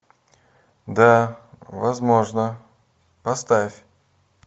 да возможно поставь